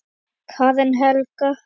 Karen Helga.